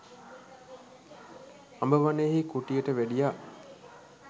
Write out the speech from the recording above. අඹ වනයෙහි කුටියට වැඩියා.